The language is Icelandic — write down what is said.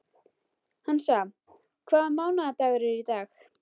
Hansa, hvaða mánaðardagur er í dag?